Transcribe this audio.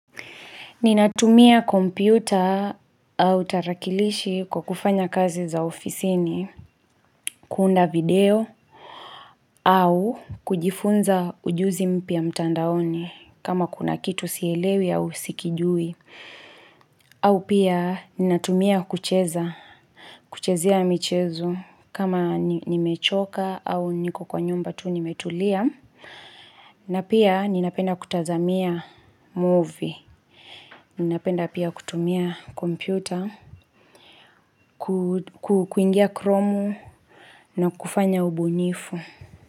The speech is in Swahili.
Ninatumia kompyuta au tarakilishi kwa kufanya kazi za ofisini, kuunda video au kujifunza ujuzi mpya mtandaoni kama kuna kitu sielewi au sikijui. Au pia, ninatumia kucheza, kuchezea michezo kama nimechoka au niko kwa nyumba tu nimetulia. Na pia, ninapenda kutazamia movie. Ninapenda pia kutumia kompyuta, kuingia kromu na kufanya ubunifu.